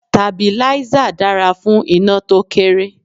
Stabilízà dára fún iná to kéré.